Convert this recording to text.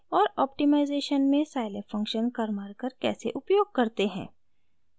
और ऑप्टिमाइज़ेशन में scilab function karmarkar कैसे उपयोग करते हैं